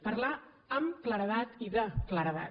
parlar amb claredat i de claredat